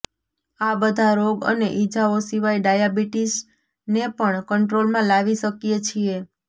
આ બધા રોગ અને ઈજાઓ સિવાય ડાયાબીટીસને પણ કંટ્રોલમાં લાવી શકીએ છીએ